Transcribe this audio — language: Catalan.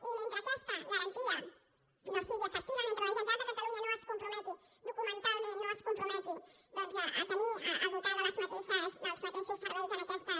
i mentre aquesta garantia no sigui efectiva mentre la generalitat de catalunya no es comprometi documentalment no es comprometi a tenir a dotar dels mateixos serveis aquestes